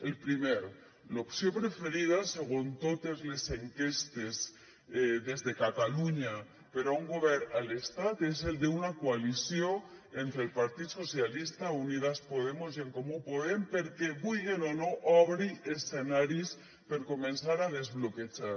el primer l’opció preferida segons totes les enquestes des de catalunya per a un govern a l’estat és el de una coalició entre el partit socialista unidas podemos i en comú podem perquè vulguen o no obri escenaris per a començar a desbloquejar